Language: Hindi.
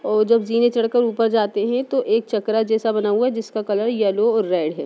और जब जीने चढ़ कर ऊपर जाते हैं तो एक चकरा जैसा बना हुआ है जिसका कलर यैलो और रैड है।